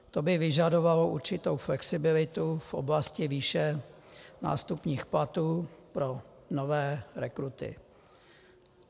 To by vyžadovalo určitou flexibilitu v oblasti výše nástupních platů pro nové rekruty.